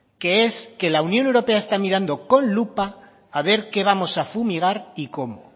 que es que la unión europea está mirando con lupa a ver qué vamos a fumigar y cómo